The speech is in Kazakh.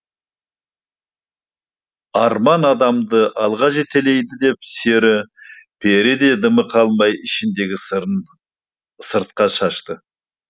арман адамды алға жетелейді деп сері пері де дымы қалмай ішіндегі сырын сыртқа шашты